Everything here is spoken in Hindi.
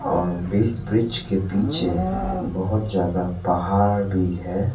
और ब्रिज ब्रिज के पीछे बहुत ज्यादा पहाड़ भी है।